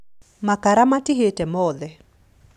Makara matihĩte mothe